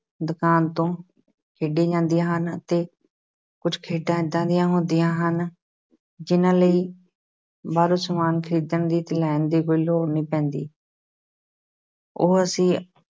ਦੁਕਾਨ ਤੋਂ ਖੇਡੀਆਂ ਜਾਂਦੀਆਂ ਅਤੇ ਕੁਛ ਖੇਡਾਂ ਏਦਾਂ ਦੀਆਂ ਹੁੰਦੀਆਂ ਹਨ ਜਿਹਨਾਂ ਲਈ ਬਾਹਰੋਂ ਸਮਾਨ ਖ਼ਰੀਦਣ ਲਈ plan ਦੀ ਕੋਈ ਲੋੜ ਨਹੀਂ ਪੈਂਦੀ ਉਹ ਅਸੀਂ